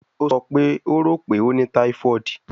O sọ pe o ro pe o ni typhoid